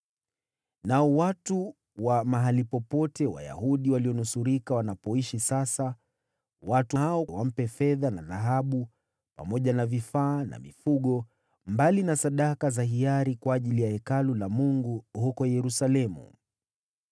Nao watu wa mahali popote wale walionusurika wanapoishi sasa, watu hao wampe fedha na dhahabu, pamoja na vifaa na mifugo, mbali na sadaka za hiari kwa ajili ya Hekalu la Mungu huko Yerusalemu.’ ”